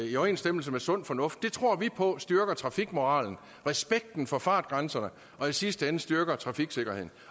i overensstemmelse med sund fornuft det tror vi på styrker trafikmoralen respekten for fartgrænserne og i sidste ende styrker trafiksikkerheden